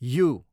you